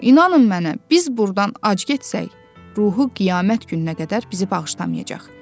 İnanın mənə, biz burdan ac getsək, ruhu qiyamət gününə qədər bizi bağışlamayacaq.